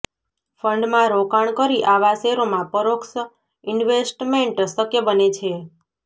ફંડમાં રોકાણ કરી આવા શેરોમાં પરોક્ષ ઇન્વેસ્ટમેન્ટ શક્ય બને છે